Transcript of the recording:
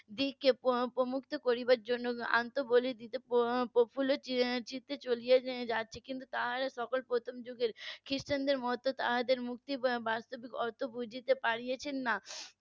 দিকে প্রমুক্ত করার জন্য আত্মবলি দিতে প্রফুল্ল চিত্তে চলে যাচ্ছে কিন্তু তারা সকল প্রথম যুগের খ্রিস্টানদের মতো তাদের মুক্তি বাস্তবিকতা অত বুঝতে পারছেন না